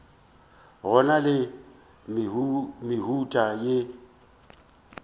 go na le mehuta e